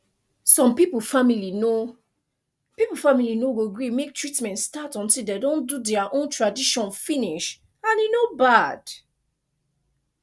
some people family no people family no go gree make treatment start until de don do dea own tradition finish and e no bad